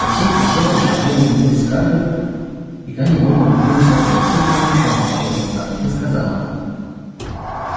присей присела и широко улыбнулась скарлетт и та невольно улыбнулась в ответ шустрая девчонка подумала скарлетт и сказала